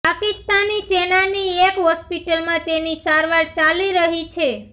પાકિસ્તાની સેનાની એક હોસ્પિટલમાં તેની સારવાર ચાલી રહી છે